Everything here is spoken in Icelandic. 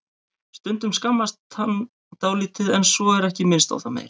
Stundum skammast hann dálítið en svo er ekki minnst á það meir.